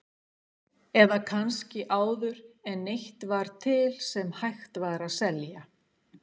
Eða kannski áður en neitt var til sem hægt var að telja?